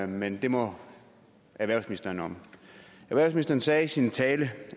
men det må erhvervsministeren om erhvervsministeren sagde i sin tale